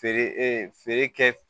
Feere ee feere kɛ